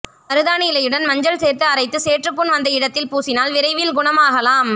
மருதாணி இலையுடன் மஞ்சள் சேர்த்து அரைத்து சேற்றுப்புண் வந்த இடத்தில் பூசினால் விரைவில் குணமாகலாம்